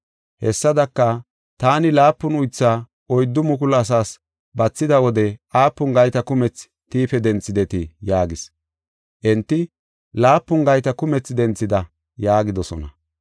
“Hessadaka, taani laapun uythaa oyddu mukulu asaas bathida wode aapun gayta kumetha tiife denthidetii?” yaagis. Enti, “Laapun gayta kumethi denthida” yaagidosona.